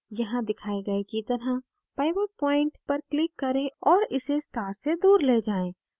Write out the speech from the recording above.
यहाँ दिखाए गए की तरह pivot point पर click करें और इसे star से दूर ले जाएँ